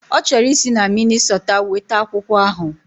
Ọ chọrọ isi na Minnisota weta akwụkwọ ahụ